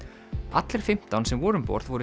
allir fimmtán sem voru um borð voru